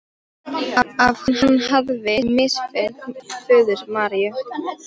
Að hann hefði misþyrmt föður Maríu.